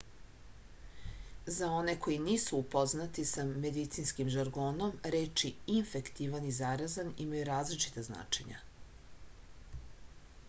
za one koji nisu upoznati sa medicinskim žargonom reči infektivan i zarazan imaju različita značenja